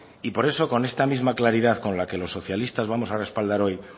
por eso con esta misma claridad con la que los socialistas vamos a respaldar hoy